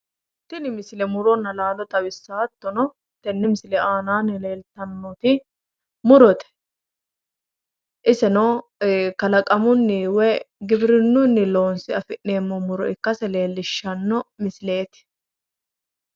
tini misile muronna laalo xawissanno hattono tenne misile aanaanni leeltannoti murote iseno kalaqamunni woyi giwirinnunni loonse afi'neemmota ikkase leellishshanno misileeti.